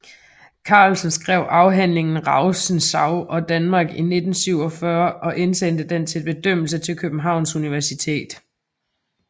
Carlsen skrev afhandlingen Rousseau og Danmark i 1947 og indsendte den til bedømmelse til Københavns Universitet